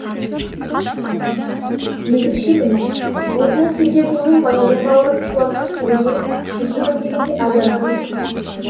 езіп ішеді мыс осындай сергелдеңмен баянның бауырын шулатқан селебе үшінші күн дегенде азар арылды